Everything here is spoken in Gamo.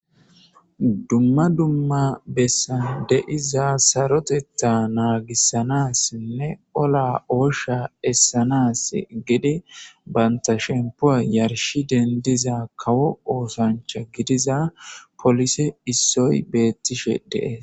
Dumma dumma bessan de'iza saroteta naagisanisinne ola,oosha essanasi banta sheppowa yarshi dendiza kawo oosachcha gidiza poolisey issoy beetishe de'esi.